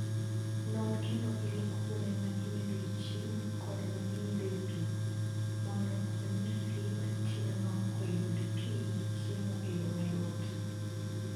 Non kendo ilok kuonde ma imedoe chiemo kod ma imedoe pi, mondo omi nyathi matinno oyud pi gi chiemo e yo mayot.